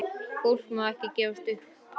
Fólk má ekki gefast upp.